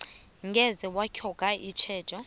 ngeze batlhoga itjhejo